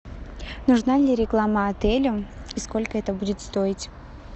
нужна ли реклама отелю и сколько это будет стоить